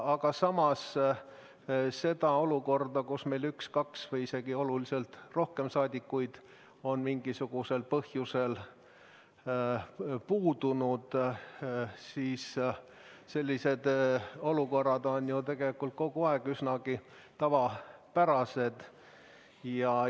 Aga samas on sellised olukorrad, kus meil üks rahvasaadik või kaks või isegi päris mitu Riigikogu liiget on mingisugusel põhjusel istungilt puudunud, tegelikult ju üsnagi tavapärased.